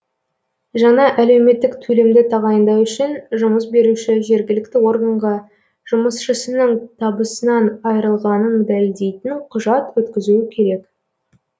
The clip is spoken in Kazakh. жаңа әлеуметтік төлемді тағайындау үшін жұмыс беруші жергілікті органға жұмысшысының табысынан айрылғанын дәлелдейтін құжат өткізуі керек